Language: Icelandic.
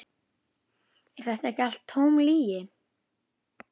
Er þetta ekki allt tóm lygi?